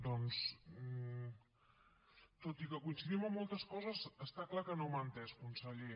doncs tot i que coincidim amb moltes coses està clar que no m’ha entès conseller